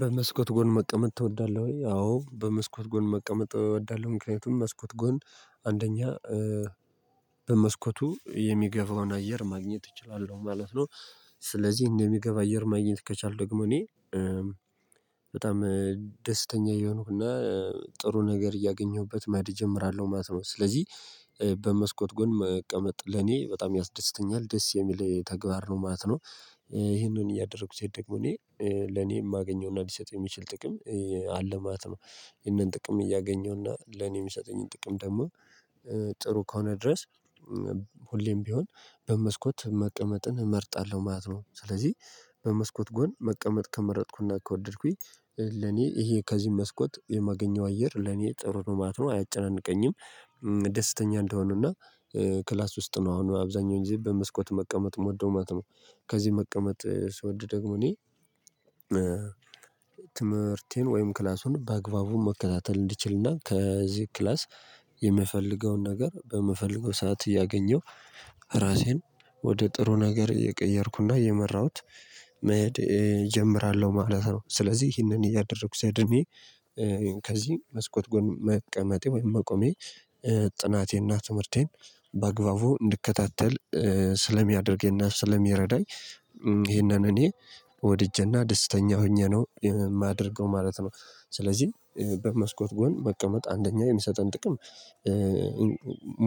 በመስኮት ጎን መቀመጥ ትወዳለህ ወይ? አዎ በመስኮት ጎን መቀመጥ እወዳለሁ ምክንያቱም መስኮት ጎን አንደኛ በመስኮቱ የሚገባውን አየር ማግኘት እችላለሁ ማለት ነው። ስለዚህ እንደሚገባ አየር ማግኘት ከቻልክ ደግሞ እኔ በጣም ደስተኛ እየሆንኩና ጥሩ ነገር እያገኘሁበት መድ እጀምራለሁ ማለት ነው። ስለዚህ በመስኮት ጎን መቀመጥ ለኔ በጣም ያስደስተኛል ደስ የሚል ተግባር ነው ማለት ነው። ይሄንን እያደረኩ ሲሄድ ደግሞ እኔ ለኔ የማገኘውና ሊሰጥ የሚችል ጥቅም አለ ማለት ነው። ይህንን ጥቅም እያገኘውና ለኔ የሚሰጠኝን ጥቅም ደግሞ ጥሩ ከሆነ ድረስ ሁሌም ቢሆን በመስኮት መቀመጥን እመርጣለሁ ማለት ነው። ስለዚህ በመስኮት ጎን መቀመጥ ከመረጥኩና ከወደድኩኝ ለኔ ይሄ ከዚህ መስኮት የማገኘው አየር ለኔ ጥሩ ነው ማለት ነው። አያጨናንቀኝም ደስተኛ እንደሆነና ክላስ ውስጥ ነው አሁን አብዛኛውን ጊዜ በመስኮት መቀመጥ መውደው ማት ነው። ከዚህ መቀመጥ ስወድ ደግሞ እኔ ትምህርቴን ወይም ክላሱን በአግባቡ መከታተል እንዲችልና ከዚህ ክላስ የምፈልገውን ነገር በምፈልገው ሰዓት እያገኘው ራሴን ወደ ጥሩ ነገር እየቀየርኩና እየመራሁት መሄድ እጀምራለሁ ማለት ነው። ስለዚህ ይሄንን እያደረኩ ሲያድኔ ከዚህ መስኮት ጎን መቀመጤ ወይም መቆሜ ጥናቴና ትምህርቴን በአግባቡ እንድከታተል ስለሚያደርገኝና ስለሚረዳኝ ይሄንን እኔ ወድጄና ደስተኛ ሆኜ ነው የማደርገው ማለት ነው። ስለዚህ በመስኮት ጎን መቀመጥ አንደኛ የሚሰጠን ጥቅም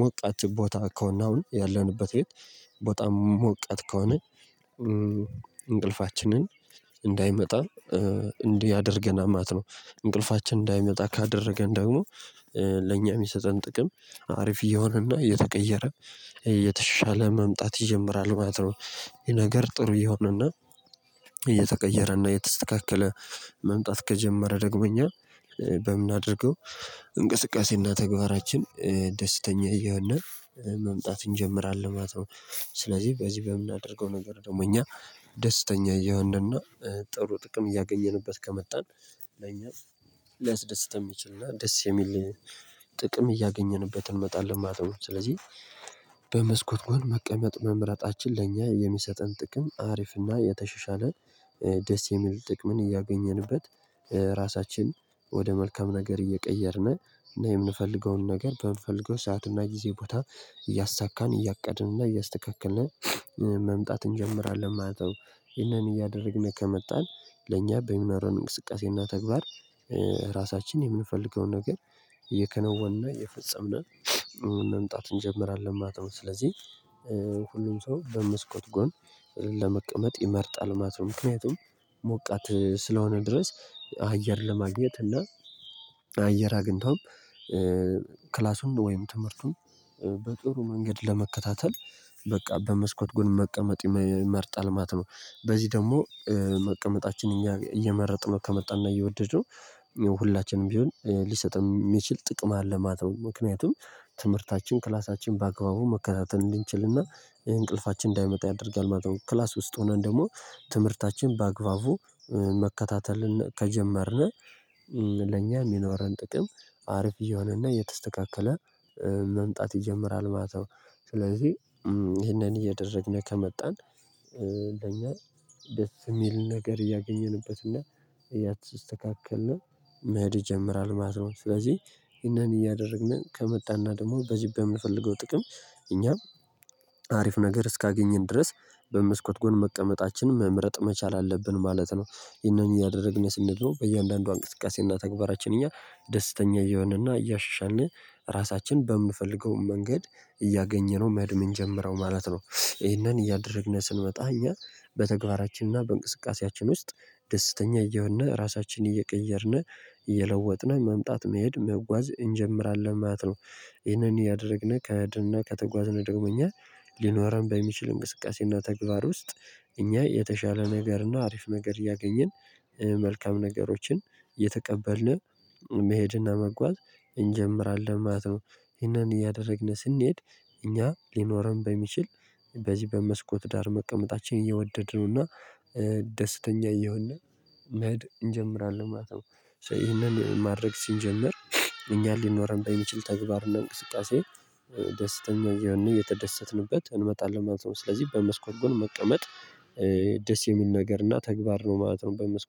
ሞቃት ቦታ ከሆነ አሁን ያለንበት ቤት ቦታ ሞቃት ከሆነ እንቅልፋችንን እንዳይመጣ እንዲህ ያደርገናል ማለት ነው። እንቅልፋችን እንዳይመጣ ካደረገን ደግሞ ለእኛ የሚሰጠን ጥቅም አሪፍ እየሆነና እየተቀየረ እየተሻለ መምጣት ይጀምራል ማለት ነው። ይሄ ነገር ጥሩ ይሆንና እየተቀየረና እየተስተካከለ መምጣት ከጀመረ ደግሞ እኛ በምናደርገው እንቅስቃሴና ተግባራችን ደስተኛ እየሆነና መምጣት እንጀምራለን ማለት ነው። ስለዚህ በዚህ በምናደርገው ነገር ደግሞ እኛ ደስተኛ እየሆነና ጥሩ ጥቅም እያገኘንበት ከመጣን ለኛ ሊያስደስትም ይችልና ደስ የሚል ጥቅም እያገኘንበት እንመጣለን። ማጥበው ስለዚህ በመስኮት ጎን መቀመጥ መምረጣችን ለእኛ የሚሰጠን ጥቅም አሪፍና የተሸሻለ ደስ የሚል ጥቅምን እያገኘንበት ራሳችን ወደ መልካም ነገር እየቀየርን የምንፈልገውን ነገር በምንፈልገው ሰዓትና ጊዜ ቦታ እያሳካን እያቀድንና እያስተካከልን መምጣት እንጀምራለን ማለት ነው። ይህንን እያደረግን ከመጣን ለእኛ በሚኖረን እንቅስቃሴና ተግባር ራሳችን የምንፈልገውን ነገር እየከነወንና የፈጸምን መምጣት እንጀምራለን ማለት ነው። ስለዚህ ሁሉም ሰው በመስኮት ጎን ለመቀመጥ ይመርጣል ማለት ነው ምክንያቱም ሞቃት ስለሆነ ድረስ አየር ለማግኘት እና አየር አግኝቶም ክላሱን ወይም ትምህርቱን በጥሩ መንገድ ለመከታተል በቃ በመስኮት ጎን መቀመጥ ይመርጣል ማለት ነው። በዚህ ደግሞ መቀመጣችን እየመረጥነው ከመጣና እየወደደው ሁላችንም ቢሆን ሊሰጥም የሚችል ጥቅም አለ ማተው ምክንያቱም ትምህርታችን ክላሳችን በአግባቡ መከታተል እንድንችልና ይሄ እንቅልፋችን እንዳይመጣ ያደርጋል ማለት ነው። ክላስ ውስጥ ሆነን ደግሞ ትምህርታችን በአግባቡ መከታተልን ከጀመርን ለኛ የሚኖረን ጥቅም አርፍ እየሆነና እየተስተካከለ መምጣት ይጀምራል ማተው። ስለዚህ ይሄንን እየደረግን ከመጣን ለኛ ደስ የሚል ነገር እያገኘንበት እና እያተስተካከልን መሄድ ይጀምራል ማለት ነው። ስለዚህ ይሄንን እያደረግን ከመጣና ደግሞ በዚህ በምንፈልገው ጥቅም እኛም አሪፍ ነገር እስካገኘን ድረስ በመስኮት ጎን መቀመጣችንን መምረጥ መቻል አለብን ማለት ነው። የነኚህ እያደረግን ስንድኖ በእያንዳንዱ እንቅስቃሴና ተግባራችን እኛ ደስተኛ እየሆነና እያሻሻልን ራሳችን በምፈልገው መንገድ እያገኘነው መድመን ጀምረው ማለት ነው። ይሄንን እያደረግነህ ስንመጣ እኛ በተግባራችንና በእንቅስቃሴያችን ውስጥ ደስተኛ እየሆንን ራሳችንን እየቀየርን እየለወጥን መምጣት መሄድ መጓዝ እንጀምራለን ማለት ነው። ይህንን እያደረግነው ከድንና ከተጓዝነው ደግሞኛል ሊኖረን በሚችል እንቅስቃሴና ተግባር ውስጥ እኛ የተሻለ ነገርና አሪፍ ነገር እያገኘን መልካም ነገሮችን የተቀበልነው መሄድና መጓዝ እንጀምራለን ማለት ነው። ይሄንን እያደረግን ስንሄድ እኛ ሊኖረን በሚችል በዚህ በመስኮት ዳር መቀመጣችን እየወደድን ነውና ደስተኛ እየሆነ መሄድ እንጀምራለን ማለት ነው። ሶ ይሄንን ማድረግ ሲንጀመር እኛን ሊኖር በሚችል ተግባር እና እንቅስቃሴ ደስተኛ የተደሰትንበት እንመጣለን ማለት ነው። ስለዚህ በመስኮት ጎን መቀመጥ ደስ የሚል ነገር እና ተግባር ነው ማለት ነው። በመስኮት